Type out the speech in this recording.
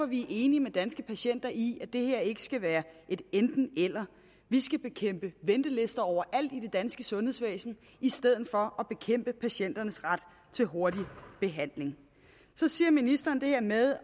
vi er enige med danske patienter i at det her ikke skal være et enten eller vi skal bekæmpe ventelister overalt i det danske sundhedsvæsen i stedet for at bekæmpe patienternes ret til hurtig behandling så siger ministeren det her med